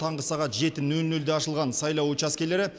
таңғы сағат жеті нөл нөлде ашылған сайлау учаскелері